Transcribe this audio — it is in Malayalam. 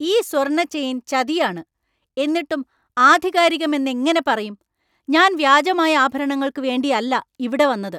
ഈ സ്വർണ്ണ ചെയിന്‍ ചതിയാണ്, എന്നിട്ടും ആധികാരികമെന്നെങ്ങനെ പറയും? ഞാൻ വ്യാജമായ ആഭരണങ്ങൾക്കു വേണ്ടിയല്ല ഇവിടെ വന്നത് !